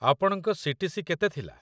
ଆପଣଙ୍କ ସି.ଟି.ସି. କେତେ ଥିଲା?